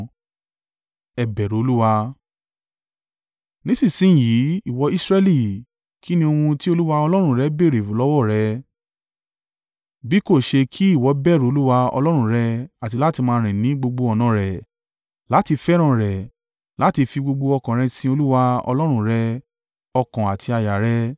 Nísinsin yìí ìwọ Israẹli, kín ni ohun tí Olúwa Ọlọ́run rẹ béèrè lọ́wọ́ rẹ? Bí kò ṣe kí ìwọ bẹ̀rù Olúwa Ọlọ́run rẹ àti láti máa rìn ní gbogbo ọ̀nà rẹ̀, láti fẹ́ràn rẹ̀, láti fi gbogbo ọkàn rẹ sin Olúwa Ọlọ́run rẹ ọkàn àti àyà rẹ,